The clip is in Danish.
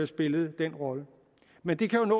spillede den rolle men det kan